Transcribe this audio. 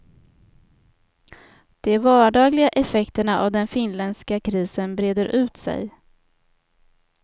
De vardagliga effekterna av den finländska krisen breder ut sig.